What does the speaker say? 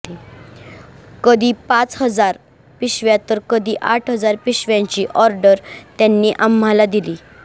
कधी पाच हजार पिशव्या तर कधी आठ हजार पिशव्यांची ऑर्डर त्यांनी आम्हाला दिली